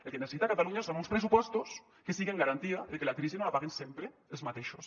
el que necessita catalunya són uns pressupostos que siguen garantia de que la crisi no la paguen sempre els mateixos